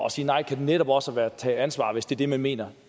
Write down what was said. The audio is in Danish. at sige nej kan netop også være at tage ansvar hvis det er det man mener